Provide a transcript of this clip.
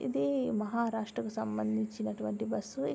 ఇది మహారాష్ట్ర కు సంబంధించినటువంటి బస్సు --